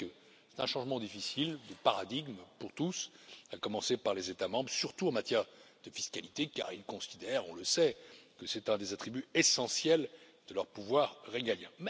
Je sais que ce changement de paradigme est difficile pour tous, à commencer par les États membres, surtout en matière de fiscalité car ils considèrent on le sait que c'est un des attributs essentiels de leur pouvoir régalien.